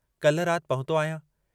काल्ह रात पहुतो आहियां।